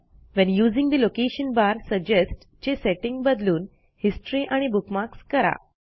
when using the location bar suggest चे setting बदलून history आणि बुकमार्क्स करा